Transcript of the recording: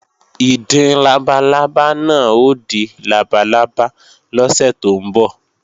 Ìdin labalábá náà ó di labalábá lọ́sẹ̀ tó ń bọ̀